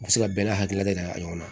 U bɛ se ka bɛɛ n'a hakilila de yira ɲɔgɔn na